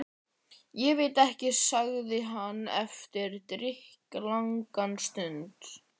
Ég veit ekki. sagði hann eftir drykklanga stund.